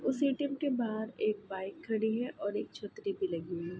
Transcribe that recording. उस ए.टी.एम के बाहर एक बाइक खड़ी है और एक छतरी भी लगी हुई है |